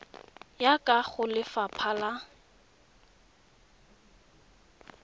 ka ya go lefapha la